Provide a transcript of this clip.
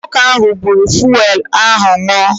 Nwoke ahụ buuru fụelụ ahụ ṅụọ.